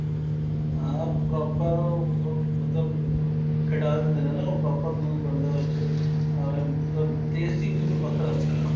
ਹਾਂ proper ਉਹ ਉਹ ਮਤਲਬ ਖੀਟਾ ਦਿੰਦੇ ਨੇ ਨਾ ਉਹ proper ਦੁੱਧ ਬਣਦਾ ਉਸ ਚੋ ਏਵੈ ਮਤਲਬ taste ਈ ਬਿਲਕੁਲ ਵੱਖਰਾ ਉਸ ਦਾ